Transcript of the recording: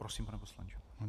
Prosím, pane poslanče.